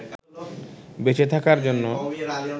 বেঁচে থাকার জন্য